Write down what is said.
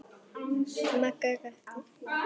Magga gapti.